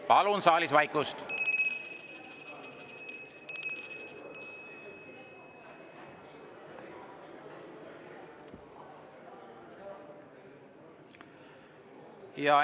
Palun saalis vaikust!